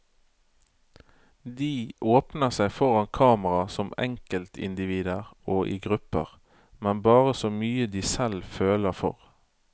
De åpner seg foran kamera som enkeltindivider og i grupper, men bare så mye de selv føler for.